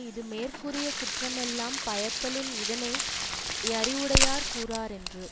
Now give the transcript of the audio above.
இது மேற்கூறிய குற்றமெல்லாம் பயத்தலின் இதனை யறிவுடையார் கூறாரென்று